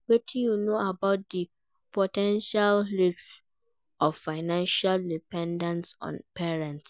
Wetin you know about di po ten tial risks of financial dependence on parents?